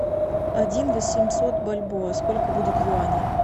один восемьсот бальбоа сколько будет юаней